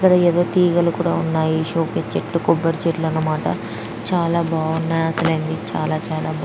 ఇక్కడ ఏవో తీగలు కూడా ఉన్నాయ్. సోకేసు చెట్లు కొబ్బరి చెట్లు అనమాట చాల బాగున్నాయి అసలిది చాల చాల--